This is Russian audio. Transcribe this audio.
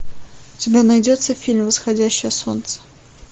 у тебя найдется фильм восходящее солнце